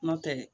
N'o tɛ dɛ